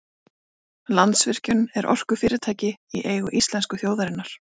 landsvirkjun er orkufyrirtæki í eigu íslensku þjóðarinnar